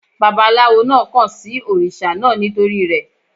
Bàbálawo náà kàn sí òrìṣà náà nítorí rẹ̀.